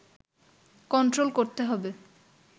control করতে হবে